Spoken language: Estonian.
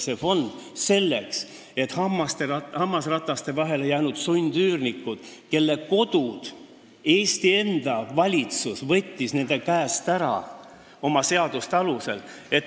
See loodi selleks, et aidata elu hammasrataste vahele jäänud sundüürnikke, kelle kodud Eesti enda valitsus võttis nende käest ära oma seaduste alusel.